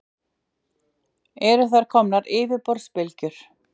Eru þar komnar yfirborðsbylgjur.